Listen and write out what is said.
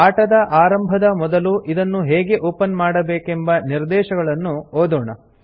ಆಟದ ಆರಂಭದ ಮೊದಲು ಇದನ್ನು ಹೇಗೆ ಒಪನ್ ಮಾಡಬೇಕೆಂಬ ನಿರ್ದೇಶಗಳನ್ನು ಓದೋಣ